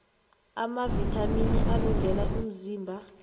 amavithamini alungele umzimba